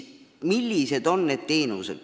Millised on osutatavad teenused?